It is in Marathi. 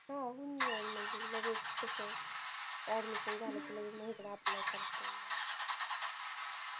हा होऊन जाईल म्हणजे लगेच कस admission झालं कि लगेच आपल्या कडे apply करता येईल